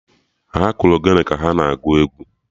Ha kụrụ Ogene ka ha na-agụ egwu